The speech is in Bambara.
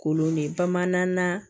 Kolon de bamanan